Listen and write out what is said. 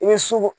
I bɛ su ko